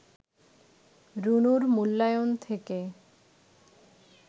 রুনুর মূল্যায়ন থেকে